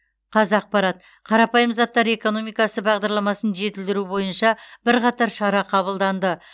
қазақпарат қарапайым заттар экономикасы бағдарламасын жетілдіру бойынша бірқатар шара қабылданды